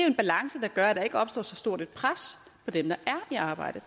en balance der gør at der ikke opstår så stort et pres på dem der er i arbejde